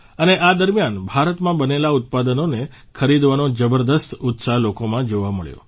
અને આ દરમિયાન ભારતમાં બનેલા ઉત્પાદનોને ખરીદવાનો જબરદસ્ત ઉત્સાહ લોકોમાં જોવા મળ્યો